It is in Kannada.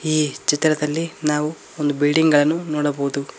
ಈ ಚಿತ್ರದಲ್ಲಿ ನಾವು ಬಿಲ್ಡಿಂಗ್ ಗಳನ್ನು ನೋಡಬಹುದು.